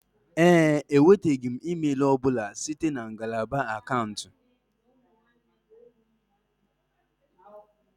Ee e, enwetaghị m email ọ bụla site na ngalaba akaụntụ